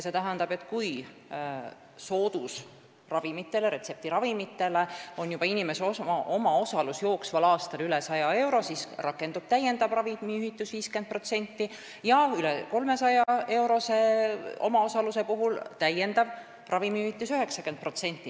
See tähendab, et kui inimese omaosalus soodusravimite, retseptiravimite eest tasumisel on jooksval aastal juba üle 100 euro, siis rakendub täiendav ravimihüvitis 50% ja üle 300-eurose omaosaluse puhul 90%.